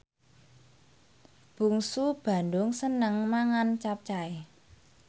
Bungsu Bandung seneng mangan capcay